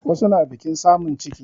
Wasu na biƙin samun ciki